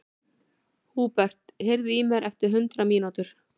Húbert, heyrðu í mér eftir hundrað mínútur.